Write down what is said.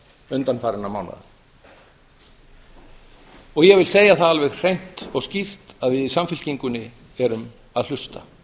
undanfarinna mánaða og ég vil segja það alveg hreint og skýrt að við í samfylkingunni erum að hlusta